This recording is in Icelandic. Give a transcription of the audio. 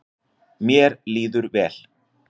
Mér líður vel.